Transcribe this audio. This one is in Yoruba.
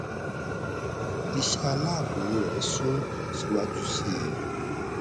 iṣẹ aláàbò rẹ sún síwájú sí i